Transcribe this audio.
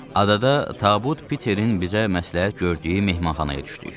Adada tabut Peterin bizə məsləhət gördüyü mehmanxanaya düşdük.